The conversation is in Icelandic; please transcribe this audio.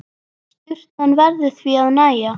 Sturtan verður því að nægja.